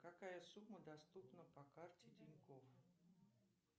какая сумма доступна по карте тинькофф